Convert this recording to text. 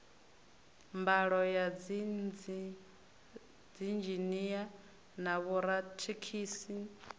mbalo ya dziinzhinia na vhorathekhiniki